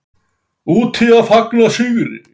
Úti að fagna sigri.